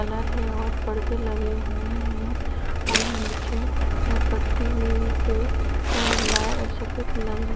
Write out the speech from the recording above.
colour हैं और परदे लगे हुए हैं और नीचे पट्टी पे सफेद लगी--